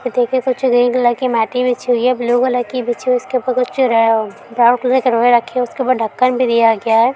देखे तो blue colour की माटी बिछी हुई हैं ब्लू कलर उसके बाद ढक्कन भी दिया गया हैं।